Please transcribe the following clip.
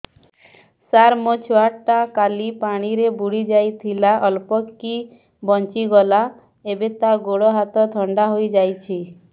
ସାର ମୋ ଛୁଆ ଟା କାଲି ପାଣି ରେ ବୁଡି ଯାଇଥିଲା ଅଳ୍ପ କି ବଞ୍ଚି ଗଲା ଏବେ ତା ଗୋଡ଼ ହାତ ଥଣ୍ଡା ହେଇଯାଉଛି